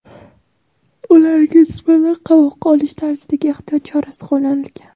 ularga nisbatan "qamoqqa olish" tarzidagi ehtiyot chorasi qo‘llanilgan.